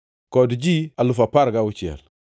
kod ji alufu apar gauchiel (16,000).